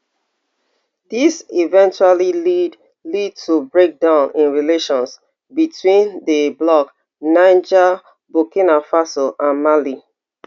dis eventually lead lead to breakdown in relations between di bloc niger burkina faso and mali